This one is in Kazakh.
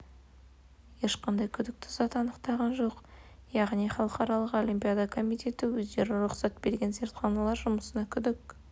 ешқандай күдікті зат анықтаған жоқ яғни халықаралық олимпиада комитеті өздері рұқсат берген зертханалар жұмысына күдік